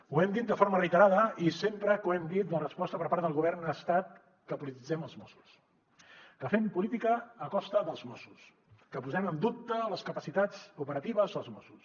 ho hem dit de forma reiterada i sempre que ho hem dit la resposta per part del govern ha estat que polititzem els mossos que fem política a costa dels mossos que posem en dubte les capacitats operatives dels mossos